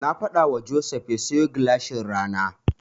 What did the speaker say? Na faɗawa Joseph ya siyo gilashin rana.